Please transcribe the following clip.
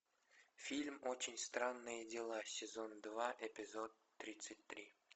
фильм очень странные дела сезон два эпизод тридцать три